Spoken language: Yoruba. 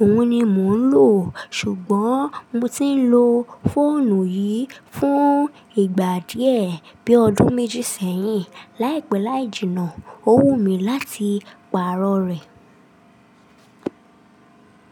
Òhun ni mò ń lò, ṣùgbọ́n mo ti ń lo fóònù yìí fún ìgbà díẹ̀ bí ọdún méjì sẹ́yìn. Láìpẹ́ láì jìnnà, ó wù mí láti pààrọ̀ rẹ̀.